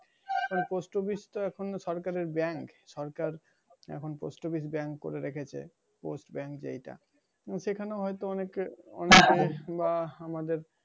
এখন post office টা এখন সরকারের bank সরকার এখন post office bank করে রেখেছে post bank যেয়টা। সেখানে হয়তো অনেকে অনেকে বা আমাদের